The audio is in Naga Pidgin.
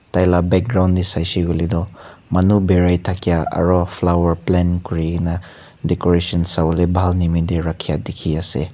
tai lah background teh saisey koi leh tu manu berai thakia aru flower plant kuri na decoration shabo ley bhal nimi teh rakhia dikhi se.